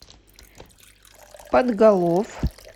подголов